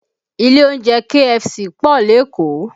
Ilé oúnjẹ KFC pọ̀ lékòó